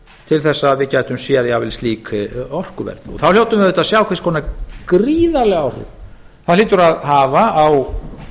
til þess að við gætum séð jafnvel slík orkuverð þá hljótum við auðvitað að sjá hvers konar gríðarleg áhrif það hlýtur að hafa á